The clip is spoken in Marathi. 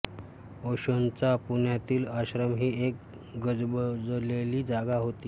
ओशोंचा पुण्यातील आश्रम ही एक गजबजलेली जागा होती